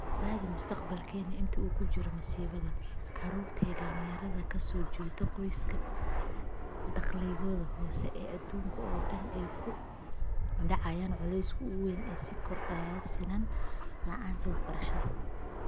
Badbaadi Mustaqbalkeena - inta uu jiro masiibada, carruurta iyo dhalinyarada ka soo jeeda qoysaska dakhligoodu hooseeyo ee adduunka oo dhan ayaa ku dhacay culayska ugu weyn ee sii kordhaya sinnaan la'aanta waxbarashada.